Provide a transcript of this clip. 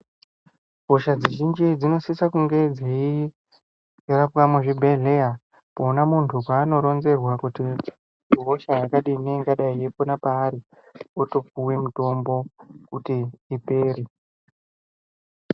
Hosha dzizhinji dzinosise kunge dzeirapwa muzvibhedhleya ,pona munthu peanoronzerwa kuti ihosha yakadini ,ingadai yeibuda paari, otopuwe mitombo kuti ipere.